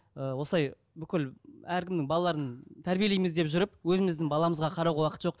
ыыы осылай бүкіл әркімнің балаларын тәрбиелейміз деп жүріп өзіміздің баламызға қарауға уақыт жоқ